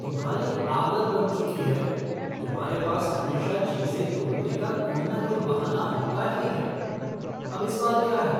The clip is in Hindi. तुम्हारी आदत बन चुकी है, तुम्हारे पास हमेशा चीज़ें तोड़ने का कोई ना कोई बहाना होता ही है। अब इस बार क्या है?